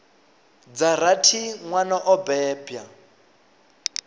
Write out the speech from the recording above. dza rathi nwana o bebwa